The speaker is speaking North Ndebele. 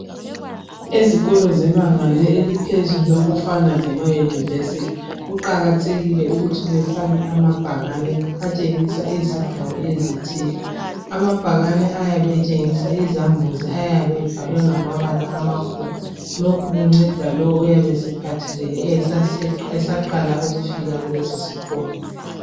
Ezikolo zebanga eliphezulu okufana lemayunivesithi, kuqakathekile ukuthi befake amabhakane atshengisa izindawo ezithile. Amabhakane ayabe etshengisa izambuzi ayabe ebhalwe ngamabala amakhulu. Lokhu kunceda lowo oyabe esephathekile esaqala ukufaka kuleso sikolo.